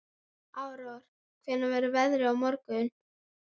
Aurora, hvernig verður veðrið á morgun?